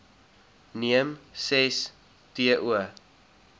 neem ses to